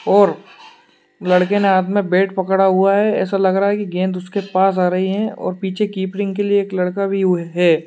और लड़के ने हाथ में बैट पकड़ा हुआ है ऐसा लग रहा है की गेंद उसके पास आ रही है और पीछे के लिए एक लड़का भी हुई है।